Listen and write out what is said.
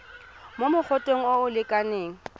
mo mogoteng o o lekanang